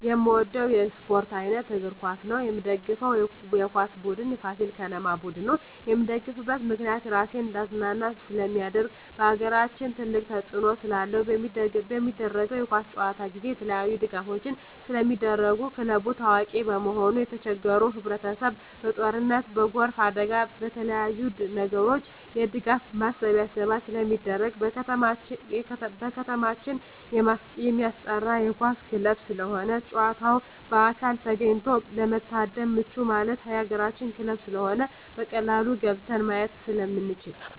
የምወደው የስፓርት አይነት እግር ኳስ ነው። የምደግፈው የኳስ ቡድን የፋሲል ከነማ ቡድን ነው። የምደግፍበት ምክንያት ራሴን እንዳዝናና ስለማደርግ በአገራችን ትልቅ ተፅዕኖ ስላለው። በሚደረገው የኳስ ጨዋታ ጊዜ የተለያዪ ድጋፎች ስለሚደረጉ ክለቡ ታዋቂ በመሆኑ የተቸገሩ ህብረቸሰብ በጦርነት በጎርፍ አደጋ በተለያዪ ነገሮች የድጋፍ ማሰባሰቢያ ስለሚደረግ። በከተማችን የማስጠራ የኳስ ክለብ ስለሆነ ጨዋታውን በአካል ተገኝቶ ለመታደም ምቹ ማለት የአገራችን ክለብ ስለሆነ በቀላሉ ገብተን ማየት ስለምንችል።